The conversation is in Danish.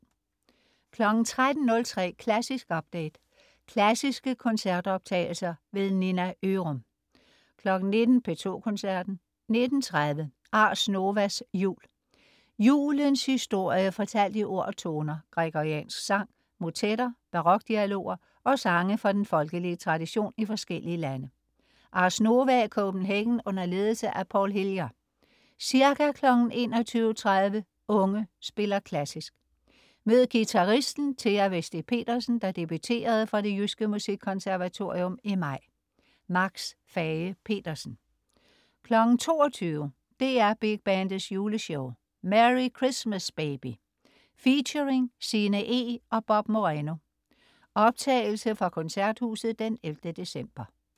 13.03 Klassisk update. Klassiske koncertoptagelser. Nina Ørum 19.00 P2 Koncerten. 19.30 Ars Novas jul. Julens historie fortalt i ord og toner: Gregoriansk sang, motetter, barokdialoger og sange fra den folkelige tradition i forskellige lande. Ars Nova Copenhagen under ledelse af Paul Hillier. Ca. 21.30 Unge spiller klassisk. Mød guitaristen Thea Vesti Pedersen, der debuterede fra Det Jyske Musikkonservatorium i maj. Max Fage-Petersen 22.00 DR Big Bandets Juleshow. Merry Christmas, Baby. Featuring Sinne Eeg og Bob Moreno. Optagelse fra Koncerthuset 11. december